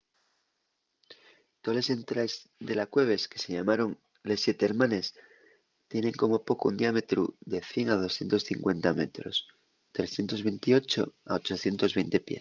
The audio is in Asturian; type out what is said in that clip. toles entraes de la cueves que se llamaron les siete hermanes” tienen como poco un diámetru de 100 a 250 metros 328 a 820 pies